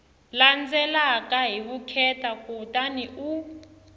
landzelaka hi vukheta kutani u